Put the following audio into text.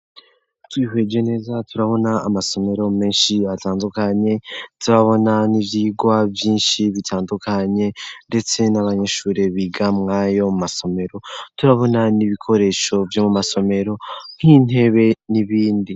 Twihweje neza turabona amasomero menshi yatandukanye zibabona n'ivyigwa vyinshi bitandukanye, ndetse n'abanyishure biga mwayo mu masomero turabona n'ibikoresho vyo mu masomero nk'intebe n'ibindi.